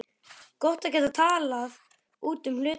Gott að geta talað út um hlutina.